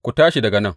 Ku tashi daga nan!